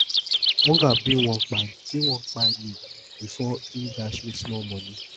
hunger bin wan kpai bin wan kpai me before im dash me small moni